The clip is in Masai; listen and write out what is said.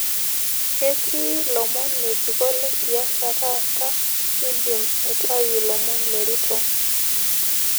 ketii lomon ngejuko le siasa taata nidim aitau lomon le ruto